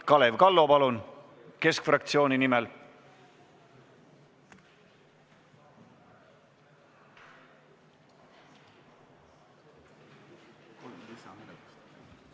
Kalev Kallo, palun keskfraktsiooni nimel!